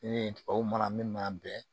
Ni tubabuw mana min b'an bɛɛ